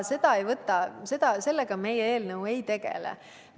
Aga sellega meie eelnõu ei tegele.